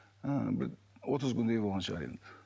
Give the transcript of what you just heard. ы бір отыз күндей болған шығар енді